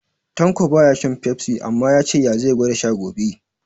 Tanko baya shan Fefsi, amma ya ce ya zai gwada sha gobe